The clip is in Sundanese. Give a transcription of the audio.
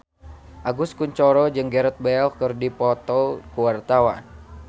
Agus Kuncoro jeung Gareth Bale keur dipoto ku wartawan